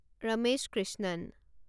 Ramesh Krishnan